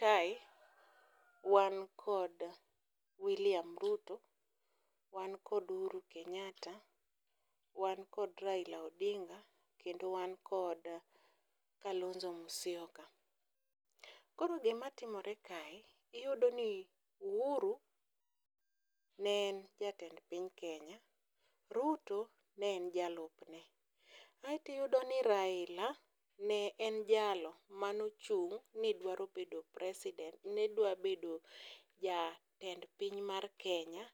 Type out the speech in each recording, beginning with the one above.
Kae wan kod William Ruto, wan kod Uhuru Kenyatta, wan kod Raila Odinga kendo wan kod Kalonzo Musyoka. Koro gimatimore kae iyudoni Uhuru ne en jatend piny Kenya, Ruto ne en jalupne. Aeto iyudo ni Raila ne en jalo manochung' nidwaro bedo president, ne dwa bedo jatend piny mar Kenya,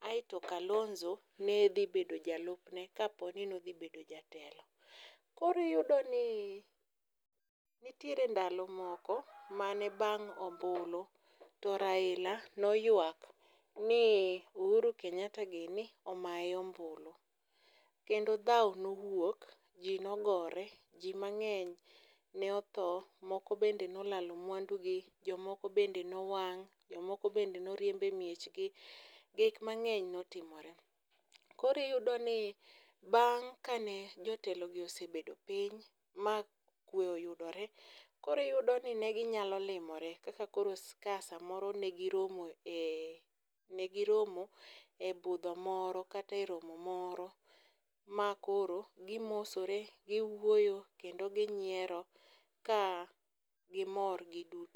aeto Kalonzo ne dhi bedo jalupne kaponi ne odhi bedo jatelo. koro iyudo ni nitiere ndalo moko mane bang' ombulu, to Raila noywak ni Uhuru Kenyatta gini omaye ombulu, kendo dhawo nowuok, ji nogore, ji mang'eny ne otho, moko be ne olalo mwandugi , jomoko bende nowang',jomoko bende noriemb e miechegi, gik mang'eny notimore. koro iyudoni bang' kane jotelogi osebedo piny ma kwe oyudore, koro iyudoni ne ginyalo limore kaka koro ka samoro ne giromo e ne giromo e budho moro kata e romo moro, ma koro gimosore ,giwuoyo kendo ginyiero ka gimor giduto